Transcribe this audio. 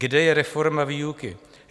Kde je reforma výuky?